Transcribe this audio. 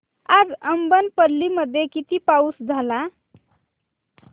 आज अब्बनपल्ली मध्ये किती पाऊस झाला